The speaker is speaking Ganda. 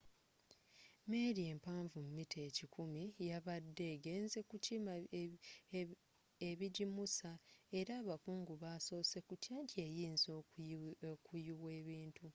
meeri empanvu mita ekikumi yabadde egenzze kukima ebigimusa era abakungu basosse kutya nti eyinza okuyuwa ebintu